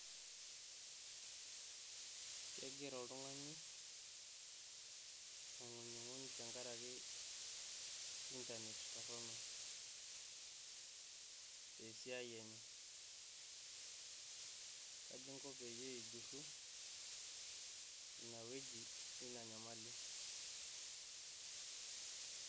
Kegira oltungani aingunyuguny tenkaraki intanet torono, tesiaai enye .kaji inko peyie ijurru ena niwuajie ina nyamali?